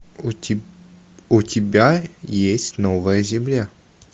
у тебя есть новая земля